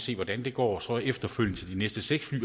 vi hvordan det går og så efterfølgende til de næste seks fly